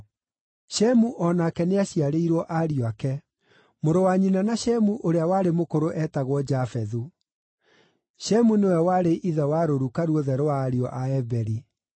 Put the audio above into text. Shemu o nake nĩaciarĩirwo ariũ ake. Mũrũ wa nyina na Shemu ũrĩa warĩ mũkũrũ eetagwo Jafethu. Shemu nĩwe warĩ ithe wa rũruka ruothe rwa ariũ a Eberi.